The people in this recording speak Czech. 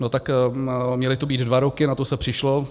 No tak měly to být dva roky, na to se přišlo.